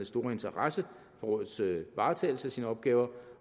store interesse for rådets varetagelse af sine opgaver